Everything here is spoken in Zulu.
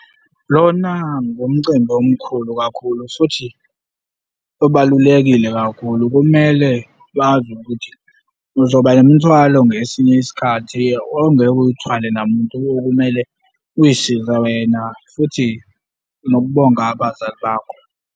Lona ngumcimbi omkhulu kakhulu futhi obalulekile kakhulu. Kumele bazi ukuthi uzoba nemithwalo ngesinye isikhathi ongeke uyithwale namuntu okumele uy'size wena futhi nokubonga abazali bakho.